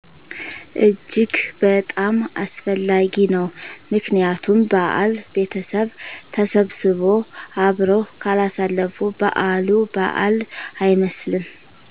እጅግ በጣም አስፈላጊ ነዉ ምክንያቱም በዓል ቤተሰብ ተሰብስቦ አብረው ካላሳለፉ በዓሉ በዓል አይመስልም